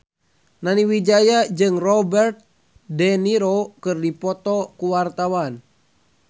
Nani Wijaya jeung Robert de Niro keur dipoto ku wartawan